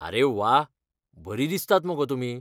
आरे व्वा, बरीं दिसतात मगो तुमी.